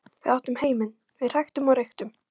Við áttum heiminn, við hræktum og reyktum.